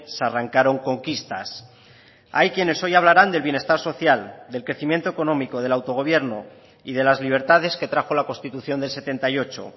se arrancaron conquistas hay quienes hoy hablarán del bienestar social del crecimiento económico del autogobierno y de las libertades que trajo la constitución del setenta y ocho